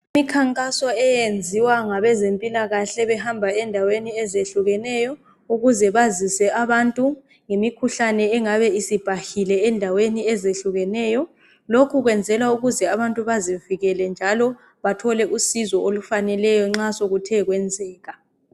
imikhankaso eyenziwa ngabezempilakahle behamba endaweni ezehlukeneyo ukuze bazise abantu ngemikhuhlane engabe isibhahile endaweni ezehlukeneyo lokhu kwenzelwa ukuze abantu bazivikele njalo bathole usizo olufaneleyo nxa sokuthekwenzeka